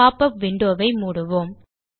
popup window வை மூடுவோம்